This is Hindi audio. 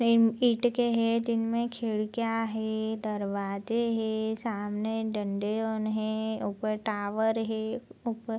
ईट के है जिनमें खिडकियाँ है दरवाजे हैं सामने डंडे हैं ऊपर टावर है। ऊपर --